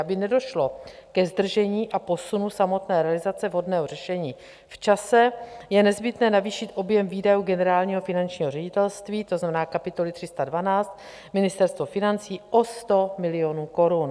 Aby nedošlo ke zdržení a posunu samotné realizace vhodného řešení v čase, je nezbytné navýšit objem výdajů Generálního finančního ředitelství, to znamená kapitoly 312 Ministerstvo financí, o 100 milionů korun.